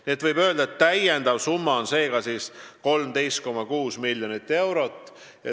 Seega võib öelda, et lisasumma on 13,6 miljonit.